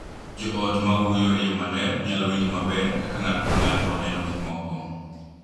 Jo ot ma wuoyo e yo maler nyalo winjo maber kaka ng’ato ka ng’ato neno gik moko,